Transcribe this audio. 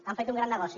han fet un gran negoci